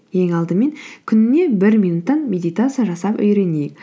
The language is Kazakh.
ең алдымен күніне бір минуттан медитация жасап үйренейік